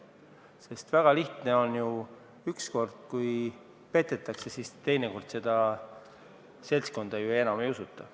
Asi on väga lihtne: kui üks kord petetakse, siis teine kord seda seltskonda enam ei usuta.